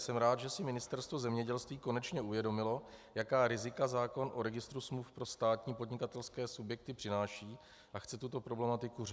Jsem rád, že si Ministerstvo zemědělství konečně uvědomilo, jaká rizika zákon o registru smluv pro státní podnikatelské subjekty přináší, a chce tuto problematiku řešit.